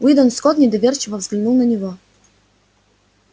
уидон скотт недоверчиво взглянул на него